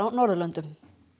Norðurlöndum